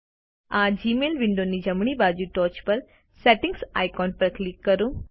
આ જીમેઇલ વિન્ડોની જમણી બાજુ ટોચ પર સેટિંગ્સ આઇકોન પર ક્લિક કરો